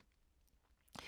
DR K